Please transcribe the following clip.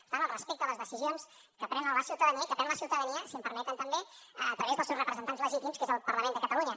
per tant el respecte a les decisions que pren la ciutadania i que pren la ciutadania si em permeten també a través dels seus representants legítims que és el parlament de catalunya